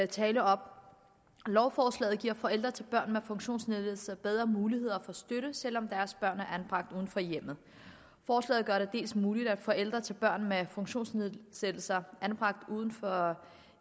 tale op lovforslaget giver forældre til børn med funktionsnedsættelse bedre muligheder for støtte selv om deres børn er anbragt uden for hjemmet forslaget gør det dels muligt at forældre til børn med funktionsnedsættelser anbragt uden for